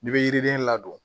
N'i bɛ yiriden ladon